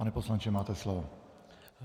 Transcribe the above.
Pane poslanče, máte slovo.